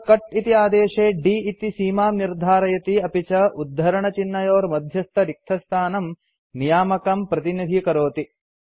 अत्र कट् इति आदेशे d इति सीमां निर्धारयति अपि च उद्धरणचिह्नयोर्मध्यस्थरिक्तस्थानं नियामकं प्रतिनिधीकरोति